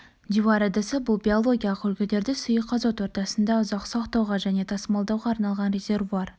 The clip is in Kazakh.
дьюар ыдысы бұл биологиялық үлгілерді сұйық азот ортасында ұзақ сақтауға және тасымалдауға арналған резервуар